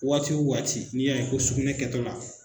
Waatiw waati n'i y'a ye ko sunɛ kɛtɔ la